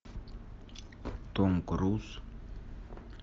том круз